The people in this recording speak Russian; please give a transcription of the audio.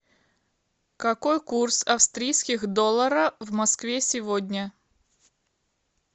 какой курс австрийских доллара в москве сегодня